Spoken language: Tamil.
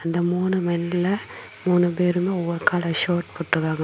இந்த மூணு மென்ல மூணு பேருமே மூணு கலர் ஷர்ட் போட்டுருக்காங்க.